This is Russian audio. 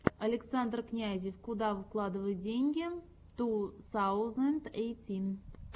александр князев куда вкладывать деньги ту саузенд эйтин